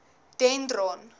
dendron